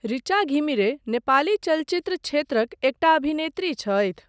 ऋचा घिमिरे नेपाली चलचित्र क्षेत्रक एकटा अभिनेत्री छथि।